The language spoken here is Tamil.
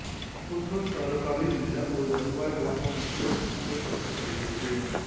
குன்னூர் தாலுக்காவில் உள்ள ஒரு வருவாய் கிராமம் என்றும் வகைப்படுத்தப்படுகிறது